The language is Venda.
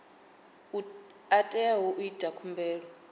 a teaho u ita khumbelo